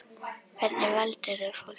Hvernig valdir þú fólkið?